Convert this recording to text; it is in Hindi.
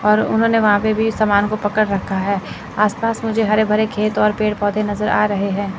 और उन्होंने वहां पे भी समान को पकड़ रखा है आस पास मुझे हरे भरे खेत और पेड़ पौधे नजर आ रहे हैं।